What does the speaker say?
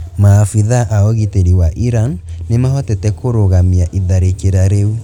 maafitha a ũgitĩri wa iran nimahotete kũrũgamia iharĩkĩra rĩu